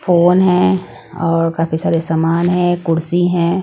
Phone है और काफी सारे सामान है कुर्सी है।